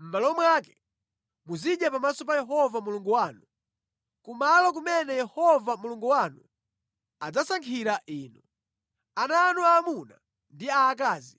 mʼmalo mwake, muzidya pamaso pa Yehova Mulungu wanu, kumalo kumene Yehova Mulungu wanu adzasankhira inu, ana anu aamuna ndi aakazi,